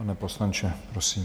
Pane poslanče, prosím.